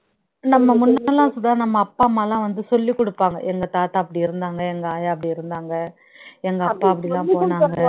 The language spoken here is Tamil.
நம்ம முன்னெல்லாம் சுதா நம்ம அப்பா அம்மா எல்லாம் வந்து சொல்லிக் கொடுப்பாங்க எங்க தாத்தா அப்படி இருந்தாங்க எங்க ஆயா அப்படி இருந்தாங்க எங்க அப்பா அப்படி எல்லாம் போனாங்க